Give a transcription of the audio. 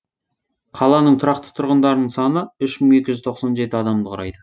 қаланың тұрақты тұрғындарының саны үш мың екі жүз тоқсан жеті адамды құрайды